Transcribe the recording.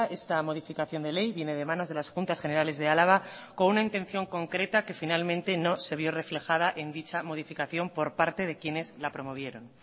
esta modificación de ley viene de manos de las juntas generales de álava con una intención concreta que finalmente no se vio reflejada en dicha modificación por parte de quienes la promovieron